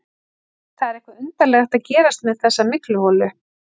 Það er eitthvað undarlegt að gerast með þessa mygluholu.